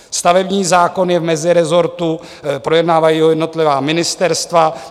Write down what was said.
Stavební zákon je v mezirezortu, projednávají ho jednotlivá ministerstva.